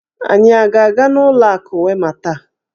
Anyị a ga-aga n'ụlọ akụ Wema taa?